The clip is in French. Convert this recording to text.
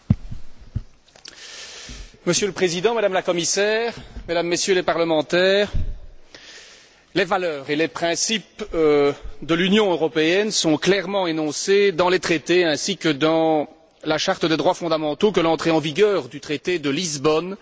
Monsieur le Président, Madame la Commissaire, Mesdames et Messieurs les parlementaires, les valeurs et les principes de l'Union européenne sont clairement énoncés dans les traités ainsi que dans la Charte des droits fondamentaux que l'entrée en vigueur du traité de Lisbonne a rendue contraignante.